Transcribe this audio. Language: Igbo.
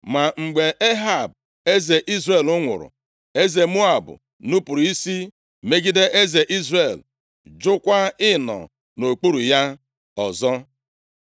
Ma mgbe Ehab eze Izrel nwụrụ, eze Moab nupuru isi megide eze Izrel, jụkwa ịnọ nʼokpuru ya ọzọ.